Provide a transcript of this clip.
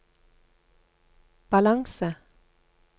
balanse